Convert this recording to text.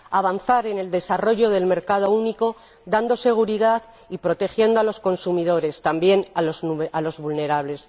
Avanzar en el desarrollo del mercado único dando seguridad y protegiendo a los consumidores, también a los vulnerables.